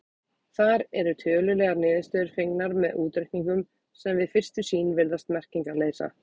Þar eru tölulegar niðurstöður fengnar með útreikningum sem við fyrstu sýn virðast merkingarleysa.